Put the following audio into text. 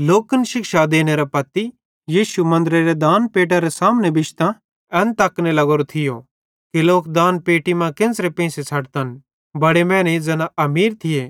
लोकन शिक्षा देनेरे पत्ती यीशु मन्दरेरे दानपेट्टेरे सामने बिश्तां एन तकने लग्गोरो थियो कि लोक दानपेट्टी मां केन्च़रां पेंइसे छ़ड्तन बड़े मैनेईं ज़ैना अमीर थिये